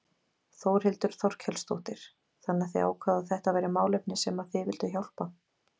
Þórhildur Þorkelsdóttir: Þannig að þið ákváðuð að þetta væri málefni sem að þið vilduð hjálpa?